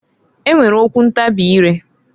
E nwere okwu ntabị ire.